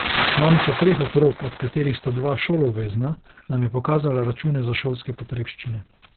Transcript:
Mamica treh otrok, od katerih sta dva šoloobvezna, nam je pokazala račune za šolske potrebščine.